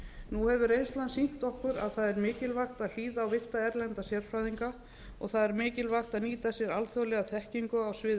nú hefur reynslan sýnt okkur að það er mikilvægt að hlýða á virta erlenda sérfræðinga og það er mikilvægt að nýta sér alþjóðlega þekkingu á sviði